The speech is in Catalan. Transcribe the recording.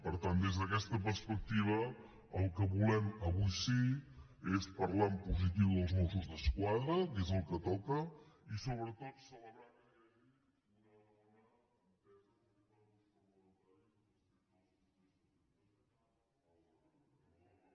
per tant des d’aquesta perspectiva el que volem avui sí és parlar en positiu dels mossos d’esquadra que és el que toca i sobretot celebrar que